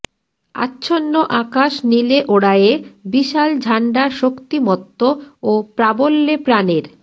আচ্ছন্ন আকাশ নীলে ওড়ায়ে বিশাল ঝান্ডা শক্তিমত্ত ও প্রাবল্যে প্রাণের